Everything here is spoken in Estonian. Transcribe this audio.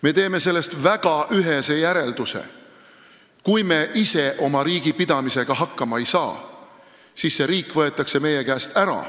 Me teeme sellest väga ühese järelduse: kui me ise oma riigi pidamisega hakkama ei saa, siis see riik võetakse meie käest ära.